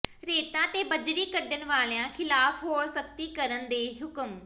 ਰੇਤਾ ਤੇ ਬੱਜਰੀ ਕੱਢਣ ਵਾਲਿਆਂ ਖਿਲਾਫ਼ ਹੋਰ ਸਖ਼ਤੀ ਕਰਨ ਦੇ ਹੁਕਮ